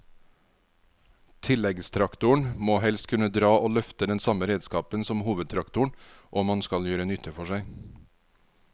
Tilleggstraktoren må helst kunne dra og løfte den samme redskapen som hovedtraktoren om han skal gjøre nytte for seg.